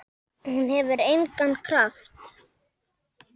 En hún hefur engan kraft.